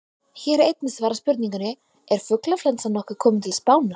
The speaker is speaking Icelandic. Hér er einnig svarað spurningunni: Er fuglaflensan nokkuð komin til Spánar?